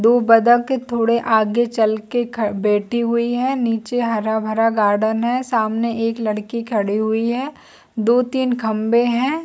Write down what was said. दो बत्तख थोड़े आगे चल के ख बैठी हुई है नीचे हरा- भरा गार्डन है सामने एक लड़की खड़ी हुई है दो तीन खम्बे है।